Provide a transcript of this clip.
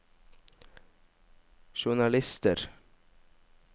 journalister